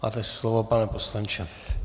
Máte slovo, pane poslanče.